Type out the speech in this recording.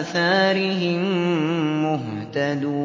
آثَارِهِم مُّهْتَدُونَ